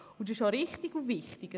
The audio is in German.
Das ist auch richtig und wichtig.